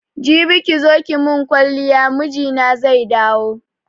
Jibi kizo ki mun kwaliya mijina zai dawo